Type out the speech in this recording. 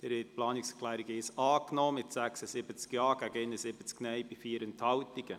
Sie haben die Planungserklärung Nr. 1 angenommen mit 76 Ja- gegen 71 Nein-Stimmen bei 4 Enthaltungen.